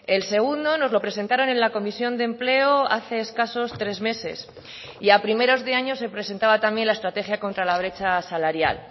el segundo nos lo presentaron en la comisión de empleo hace escasos tres meses y a primeros de años se presentaba también la estrategia contra la brecha salarial